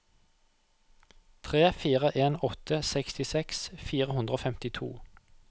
tre fire en åtte sekstiseks fire hundre og femtito